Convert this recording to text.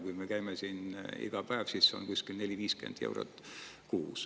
Kui me käime siin iga päev, siis see on kuskil 40 kuni 50 eurot kuus.